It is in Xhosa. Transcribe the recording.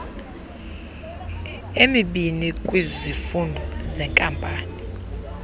emibini kwizifundo zeenkampani